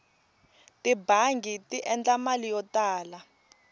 tibangi ti endla mali yo tala